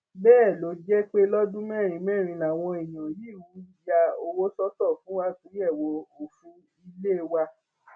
bẹẹ ló jẹ pé lọdún mẹrin mẹrin làwọn èèyàn yìí ń ya owó sọtọ fún àtúnyẹwò òfin ilé wa